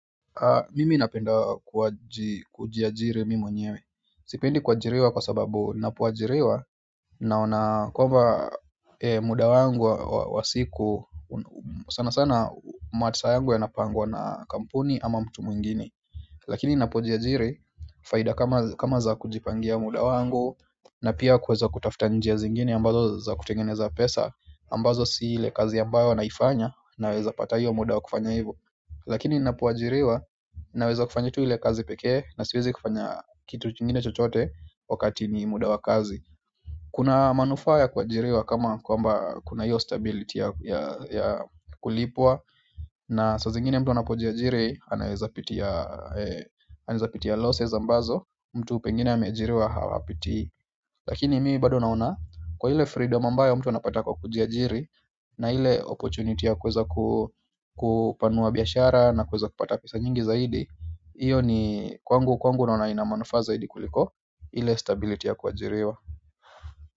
Mimi napenda kujiajiri mi mwenyewe sipendi kuajiriwa kwa sababu ninapoajiriwa naona muda wangu wa siku sana sana masaa yangu yanapangwa na kampuni ama mtu mwingine lakini ninapojiajiri faida kama za kujipangia muda wangu na pia kuweza kutafuta njia zingine ambazo za kutengeneza pesa ambazo si ile kazi ambayo naifanya, nawezapata hiyo muda wa kufanya hivo lakini ninapoajiriwa naweza kufanya tu ile kazi pekee na siwezi kufanya kitu kingine chochote wakati ni muda wa kazi kuna manufaa ya kuajiriwa kama kwamba kuna hiyo stability ya kulipwa na saa zingine mtu anapojiajiri anaweza pitia losses ambazo mtu pengine ameajiriwa hawapiti lakini mimi bado naona kwa ile freedom ambayo mtu anapata kwa kujiajiri na ile opportunity ya kuweza kupanua biashara na kuweza kupata pesa nyingi zaidi iyo ni kwangu kwangu naona ina manufaa zaidi kuliko ile stability ya kuajiriwa.